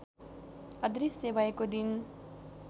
अदृष्य भएको दिन